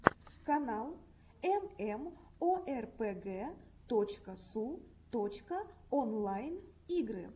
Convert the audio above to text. канал эмэмоэрпэгэ точка су точка онлайн игры